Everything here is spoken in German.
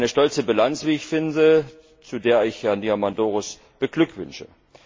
Eine stolze Bilanz, wie ich finde, und zu der ich Herrn Diamandouros beglückwünsche.